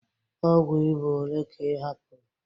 Ọgwụ ịba ole ka ị hapụrụ?